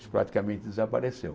Isso praticamente desapareceu.